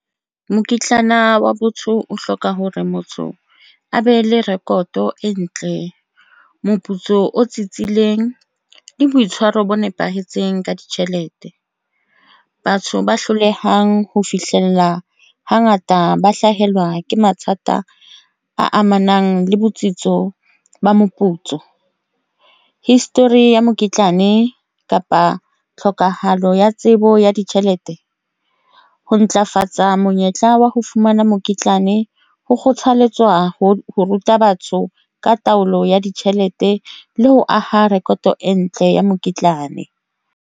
Mokitlana wa botho o hloka hore motho a be le rekoto e ntle, moputso o tsitsitseng le boitshwaro bo nepahetseng ka ditjhelete. Batho ba hlolehang ho fihlella hangata ba hlahelwa ke mathata a amanang le botsitso ba moputso, history ya mokitlane kapa tlhoka. Palo ya tsebo ya ditjhelete ho ntlafatsa monyetla wa ho fumana mokitlane ho kgothaletswa ho ruta batho ka taolo ya ditjhelete le ho aha rekoto e ntle ya mokitlana.